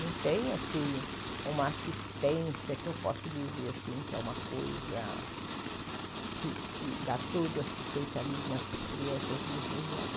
Não tem, assim, uma assistência que eu posso dizer, assim, que é uma coisa que que dá todo o assistencialismo a essas crianças de inclusão.